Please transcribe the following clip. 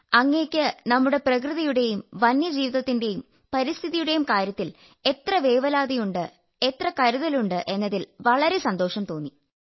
അങ്ങയ്ക്ക് നമ്മുടെ പ്രകൃതിയുടെയും വന്യജീവിതത്തിന്റെയും പരിസ്ഥിതിയുടെയും കാര്യത്തിൽ എത്ര വേവലാതിയുണ്ട് എത്ര കരുതലുണ്ട് എന്നതിൽ വളരെ സന്തോഷം തോന്നി